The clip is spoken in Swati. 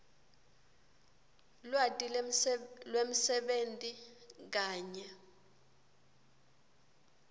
lwati lwemsebenti kanye